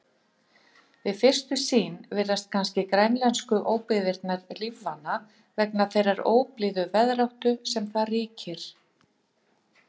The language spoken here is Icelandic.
Við fyrstu sýn virðast kannski grænlensku óbyggðirnar lífvana vegna þeirrar óblíðu veðráttu sem þar ríkir.